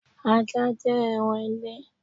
Ajá jẹ́ ẹran ile